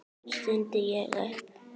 stundi ég upp.